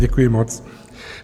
Děkuji moc.